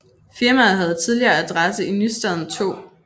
Firmaet havde tidligere adresse i Nystaden 2